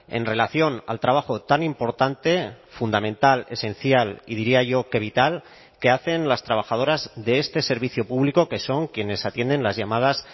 en relación al trabajo tan importante fundamental esencial y diría yo que vital que hacen las trabajadoras de este servicio público que son quienes atienden las llamadas